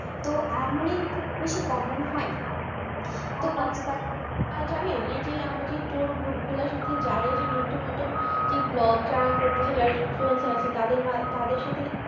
problem হয়না এইযে আমরা যে tour group গুলার সাথে যাই নতুন নতুন যেই vlog যারা করতেছে influencer আছে তাদের সাথেই